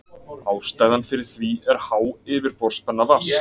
Ástæðan fyrir því er há yfirborðsspenna vatns.